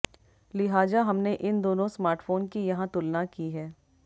लिहाजा हमने इन दोनों स्मार्टफोन की यहां तुलना की है